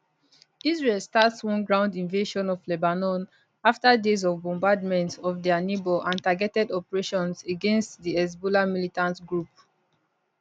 israel start one ground invasion of lebanon afta days of bombardment of dia neighbour and targeted operations against di hezbollah militant group